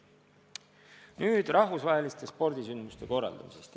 Nüüd rahvusvahelistest spordisündmuste korraldamisest.